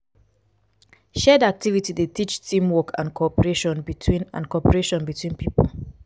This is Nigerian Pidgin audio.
shared activity dey teach team work and cooperation between and cooperation between pipo